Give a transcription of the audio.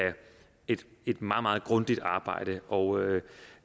et meget meget grundigt arbejde og